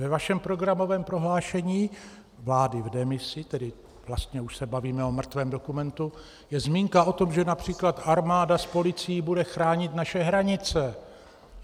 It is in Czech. Ve vašem programovém prohlášení vlády v demisi, tedy vlastně už se bavíme o mrtvém dokumentu, je zmínka o tom, že například armáda s policií bude chránit naše hranice.